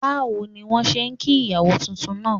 Báwo ni wọ́n ṣe kí ìyàwó titun náà?